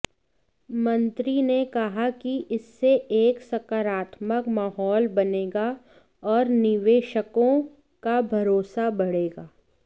मंत्री ने कहा कि इससे एक सकारात्मक माहौल बनेगा और निवेशकों का भरोसा बढ़ेगा